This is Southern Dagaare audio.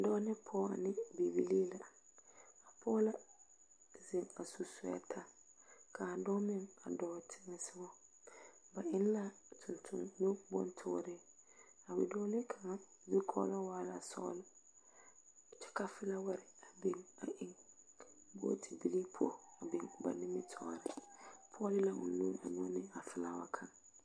Dɔɔ ne pɔɔ ane Bibilii la a pɔɔ la zeŋ a su soɛta kaa dɔɔ meŋ a dɔɔ teŋɛ sogɔ. Ba eŋ la tontonubontoore. A bidɔɔle kaŋa zukɔgle waa la sɔgle, kyɛ ka felaware a biŋ a eŋ bootebili poɔ a biŋ ba nimitɔɔre. A pɔɔ leɛ ne o nu a nyɔge nra felawa kaŋ.